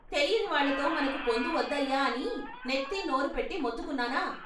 తెలియని వాళ్ళతో మనకు పొందువద్దయ్యా అని నెత్తి నోరు పెట్టి మొత్తుకున్నానా.